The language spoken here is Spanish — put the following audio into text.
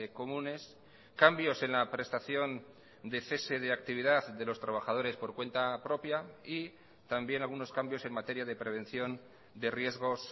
comunes cambios en la prestación de cese de actividad de los trabajadores por cuenta propia y también algunos cambios en materia de prevención de riesgos